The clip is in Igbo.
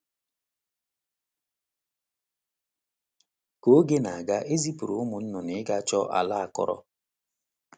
Ka oge na - aga, e zipụrụ ụmụ nnụnụ ịga chọọ ala akọrọ.